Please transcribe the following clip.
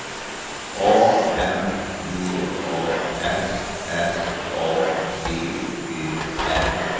A M B A S S A D Ö R